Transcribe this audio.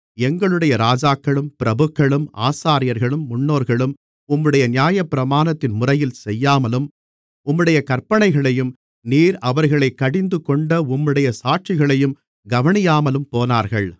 எங்களுடைய ராஜாக்களும் பிரபுக்களும் ஆசாரியர்களும் முன்னோர்களும் உம்முடைய நியாயப்பிரமாணத்தின் முறையில் செய்யாமலும் உம்முடைய கற்பனைகளையும் நீர் அவர்களைக் கடிந்துகொண்ட உம்முடைய சாட்சிகளையும் கவனியாமலும் போனார்கள்